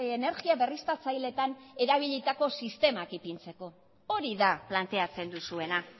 energia berriztatzaileetan erabilitako sistemak ipintzeko hori da planteatzen duzuena